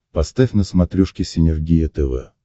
поставь на смотрешке синергия тв